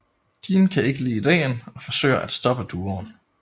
Dean kan ikke lide ideen og forsøger at stoppe duoen